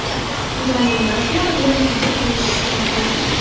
Ularning ba’zilari bilan quyida tanishish mumkin.